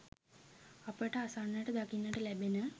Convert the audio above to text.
අපට අසන්නට දකින්නට ලැබෙන